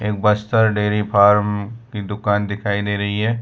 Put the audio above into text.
एक Bastar dairy farm की दुकान दिखाई दे रही हैं।